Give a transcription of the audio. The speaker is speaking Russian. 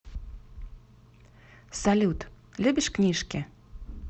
салют любишь книжки